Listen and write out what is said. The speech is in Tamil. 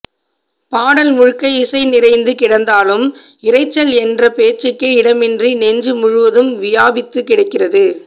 பாடல் முழுக்க இசை நிறைந்து கிடந்தாலும் இரைச்சல் என்ற பேச்சுக்கே இடமின்றி நெஞ்சு முழுதும் வியாபித்துக்கிடக்கிறது